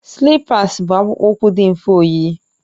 Slipas bụ akpụkpọ ụkwụ dị mfe oyiyi